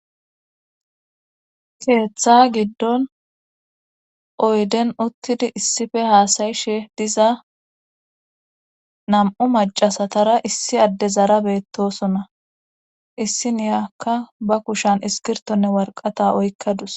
Keetha giddon oyden uttidi issife haasa7ishe diza nam7u maccasatara issi addezara beettoosona issiniyakka bba kushan iskkirtonne warqqata oyqqadus.